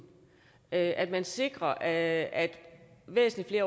at at vi sikrer at at væsentlig